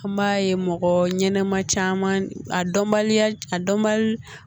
An b'a ye mɔgɔ ɲɛnɛma caman a dɔnbaliya a dɔnbali